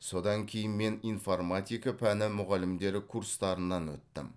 содан кейін мен информатика пәні мұғалімдері курстарынан өттім